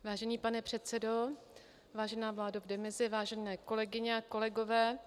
Vážený pane předsedo, vážená vládo v demisi, vážené kolegyně a kolegové.